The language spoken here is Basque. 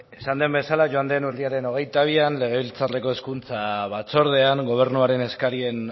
esan den bezala joan den urriaren hogeita bian legebiltzarreko hezkuntza batzordean gobernuaren eskarien